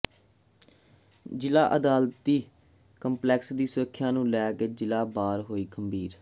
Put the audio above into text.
ਜ਼ਿਲ੍ਹਾ ਅਦਾਲਤੀ ਕੰਪਲੈਕਸ ਦੀ ਸੁਰੱਖਿਆ ਨੂੰ ਲੈ ਕੇ ਜ਼ਿਲ੍ਹਾ ਬਾਰ ਹੋਈ ਗੰਭੀਰ